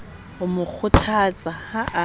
ho mo kgothatsa ha a